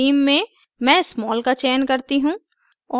theme में मैं small का चयन करती हूँ